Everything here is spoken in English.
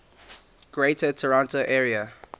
greater toronto area